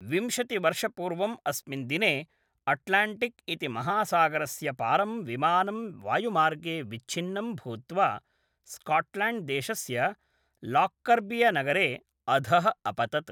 विंशतिवर्षपूर्वम् अस्मिन् दिने अट्लाण्टिक् इति महासागरस्यपारं विमानं वायुमार्गे विच्छिन्नं भूत्वा स्काट्लाण्ड्देशस्य लाक्कर्बियनगरे अधः अपतत्।